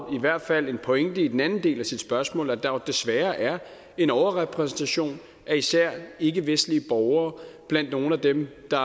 i hvert fald en pointe i den anden del af spørgsmålet nemlig at der desværre er en overrepræsentation af især ikkevestlige borgere blandt nogle af dem der